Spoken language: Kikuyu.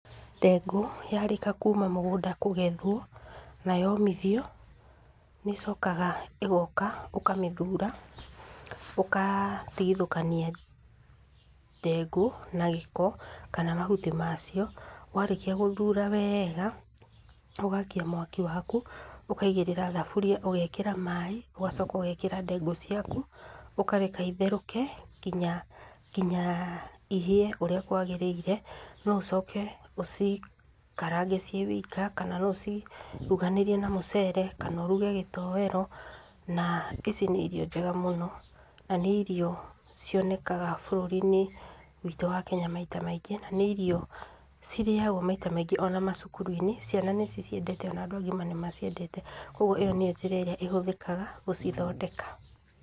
Ndengũ, yarĩka kuma mũgũnda kũgethwo, na yomithio, nĩ ĩcokaga ĩgoka ũkamĩthura, ũgatigithũkania ndengũ na gĩko, kana mahuti ma cio. Warĩkia gũthura wega, ũgakia mwaki waku, ũkaigĩrĩra thaburia, ũgekĩra maĩ, ũgacoka ũgekĩra ndengũ ciaku, ũkareka itherũke nginya, nginya ihĩe ũrĩa kwagĩrĩire. No ũcoke ũcikarange ciĩ wika, kana no ũci ruganirie na mũcere, kana ũruge gĩtoero. Na ici nĩ irio njega mũno, na nĩ irio cionekaga bũrũri-inĩ witũ wa Kenya maita maingĩ, na nĩ irio cirĩagwo maita maingĩ ona macukuru-inĩ, ciana nĩ ciciendete ona andũ agima nĩ maciendete. Koguo ĩyo nĩyo njĩra ĩria ĩhũthĩkaga gũcithondeka.